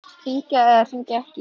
Hringja eða hringja ekki?